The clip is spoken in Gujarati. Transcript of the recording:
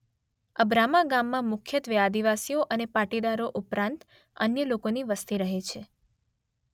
અબ્રામા ગામમાં મુખ્યત્વે આદિવાસીઓ અને પાટીદારો ઉપરાંત અન્ય લોકોની વસ્તી રહે છે.